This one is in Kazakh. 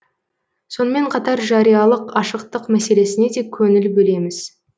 сонымен қатар жариялық ашықтық мәселесіне де көңіл бөлеміз